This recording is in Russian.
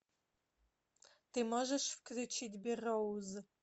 ты можешь включить берроуз